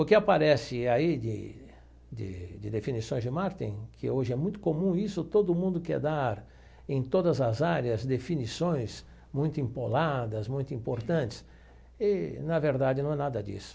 O que aparece aí de de de definições de marketing, que hoje é muito comum, isso todo mundo quer dar em todas as áreas, definições muito empoladas, muito importantes, e na verdade não é nada disso.